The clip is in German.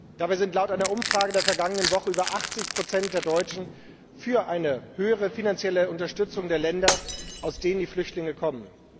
Dabei sind laut einer Umfrage der vergangenen Woche über 80 der Deutschen für eine höhere finanzielle Unterstützung der Länder, aus denen die Flüchtlinge kommen.